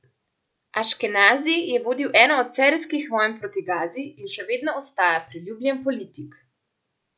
Aškenazi je vodil eno od serijskih vojn proti Gazi in še vedno ostaja priljubljen politik.